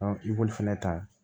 i b'olu fɛnɛ ta